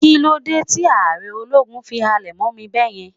kilode Ti aare ologun fi halẹ̀ mọ mí beeyen